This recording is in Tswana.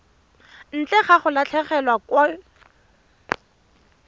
ntle ga go latlhegelwa ke